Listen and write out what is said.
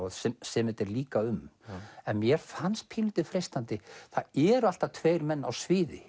sem þetta er líka um en mér fannst pínulítið freistandi það eru alltaf tveir menn á sviði